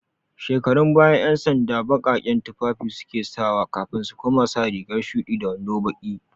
Shekarun baya, 'yansanda baƙaƙen tufafi su ke sawa kafin su koma sa riga shuɗi da wando baƙi.